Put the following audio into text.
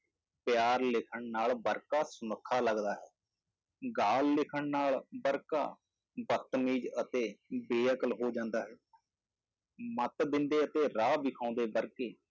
ਪਿਆਰ ਲਿਖਣ ਨਾਲ ਵਰਕਾ ਸੁਨੱਖਾ ਲੱਗਦਾ ਹੈ, ਗਾਲ ਲਿਖਣ ਨਾਲ ਵਰਕਾ ਬਦਤਮੀਜ਼ ਅਤੇ ਬੇਅਕਲ ਹੋ ਜਾਂਦਾ ਹੈ ਮੱਤ ਦਿੰਦੇ ਅਤੇ ਰਾਹ ਵਿਖਾਉਂਦੇ ਵਰਕੇ